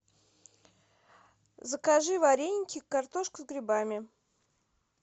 закажи вареники картошка с грибами